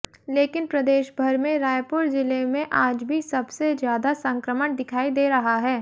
लेकिन प्रदेशभर में रायपुर जिले में आज भी सबसे ज्यादा संक्रमण दिखाई दे रहा है